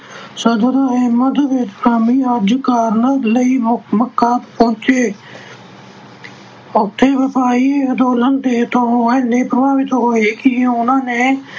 ਸਦਰ ਅਹਿਮਦ ਕਰਨ ਲਈ ਮੱਕਾ ਪਹੁੰਚੇ ਉੱਥੇ ਅੰਦੋਲਨ ਤੋਂ ਇੰਨੇ ਪ੍ਰਭਾਵਿਤ ਹੋਏ ਕਿ ਉਹਨਾਂ ਨੇ